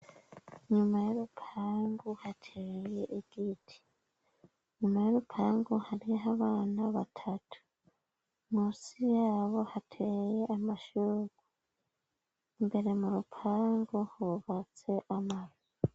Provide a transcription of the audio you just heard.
Nyuma y'urupangu hateye igiti ,nyuma y'urupangu harih' abana batatu ,munsi yabo hateye amashugwe, imbere mu rupangu hubatse amazu